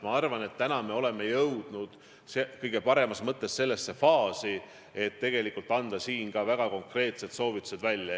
Ma arvan, et me oleme jõudnud sellesse faasi, et tegelikult tuleb anda väga konkreetsed soovitused.